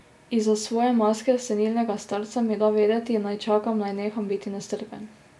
Izza svoje maske senilnega starca mi da vedeti, naj čakam, naj neham biti nestrpen.